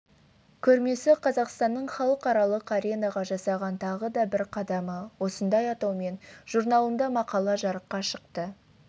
көрмесі қазақстанның халықаралық аренаға жасаған тағы да бір қадамы осындай атаумен журналында мақала жарыққа шықты